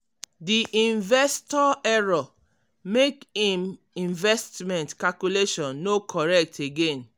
di investor error make im investment calculation no correct again.